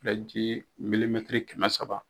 Filen ji milimɛtiri kɛmɛ saba